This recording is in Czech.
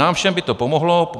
Nám všem by to pomohlo.